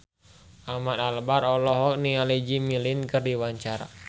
Ahmad Albar olohok ningali Jimmy Lin keur diwawancara